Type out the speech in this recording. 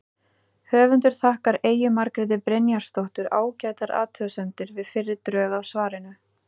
Höfundur þakkar Eyju Margréti Brynjarsdóttur ágætar athugasemdir við fyrri drög að svarinu.